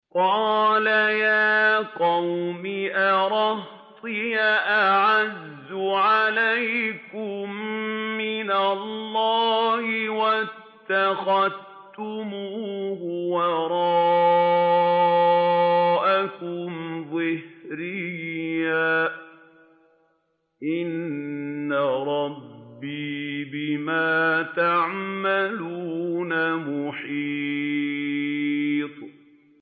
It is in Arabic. قَالَ يَا قَوْمِ أَرَهْطِي أَعَزُّ عَلَيْكُم مِّنَ اللَّهِ وَاتَّخَذْتُمُوهُ وَرَاءَكُمْ ظِهْرِيًّا ۖ إِنَّ رَبِّي بِمَا تَعْمَلُونَ مُحِيطٌ